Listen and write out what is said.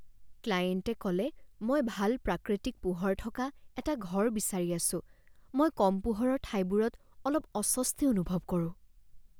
ক্লায়েণ্টে ক'লে মই ভাল প্ৰাকৃতিক পোহৰ থকা এটা ঘৰ বিচাৰি আছোঁ মই কম পোহৰৰ ঠাইবোৰত অলপ অস্বস্তি অনুভৱ কৰোঁ।